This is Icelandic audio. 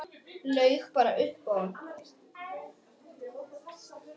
Laug bara upp á hann.